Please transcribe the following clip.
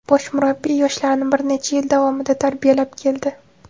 Bosh murabbiy yoshlarni bir necha yil davomida tarbiyalab keldi.